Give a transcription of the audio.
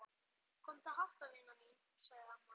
Komdu að hátta vina mín sagði amma.